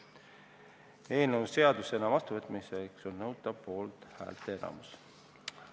Eelnõu seadusena vastuvõtmiseks on nõutav poolthäälte enamus.